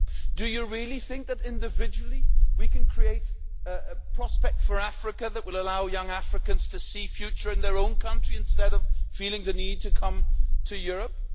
Do you really think that, individually, we can create a prospect for Africa that will allow young Africans to see a future in their own countries instead of feeling the need to come to Europe?